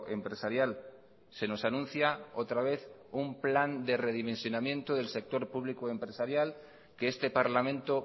empresarial se nosanuncia otra vez un plan de redimensionamiento del sector público empresarial que este parlamento